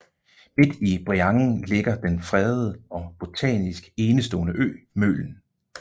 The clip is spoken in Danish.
Midt i Breiangen ligger den fredede og botanisk enestående ø Mølen